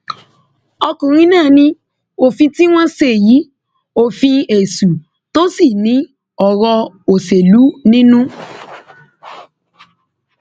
ọkùnrin náà ní òfin tí wọn ṣe yìí òfin èṣù tó sì ní ọrọ òṣèlú nínú